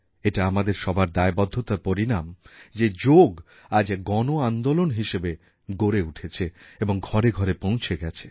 এটা আমাদের সবার দায়বদ্ধতার পরিণাম যে যোগ আজ এক গণ আন্দোলন হিসেবে গড়ে উঠেছে এবং ঘরে ঘরে পৌঁছে গেছে